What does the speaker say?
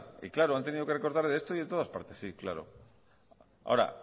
y claro han tenido que recortar de esto y de todas partes sí claro ahora